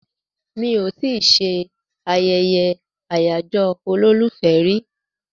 Mi ò tí ì ṣe ayẹyẹ àyájọ́ olólùfẹ́ rí